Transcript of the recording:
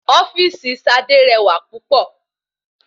Ofíìsì sadé rẹwà púpọ̀